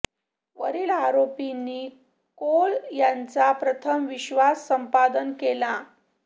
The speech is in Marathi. वरील आरोपींनी कोल यांचा प्रथम विश्वास संपादन केला